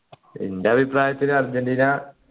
ഇന്റെ അഭിപ്രായത്തിൽ അർജൻറീന